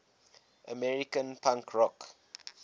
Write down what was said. american punk rock